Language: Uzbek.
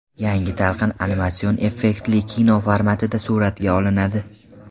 Yangi talqin animatsion effektli kino formatida suratga olinadi.